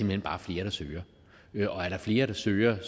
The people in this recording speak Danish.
hen bare flere der søger og er der flere der søger